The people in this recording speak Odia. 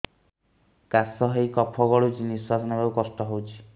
କାଶ ହେଇ କଫ ଗଳୁଛି ନିଶ୍ୱାସ ନେବାକୁ କଷ୍ଟ ହଉଛି